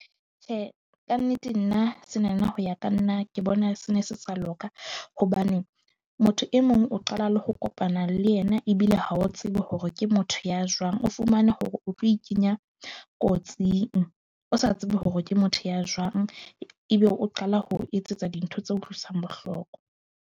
Tjhe, ka nnete nna sena na ho ya ka nna ke bona se ne se sa loka hobane motho e mong o qala le ho kopana le yena. Ebile ha o tsebe hore ke motho ya jwang, o fumane hore o tlo e kenya kotsing o sa tsebe hore ke motho ya jwang. Ebe o qala ho etsetsa dintho tse utlwisang bohloko.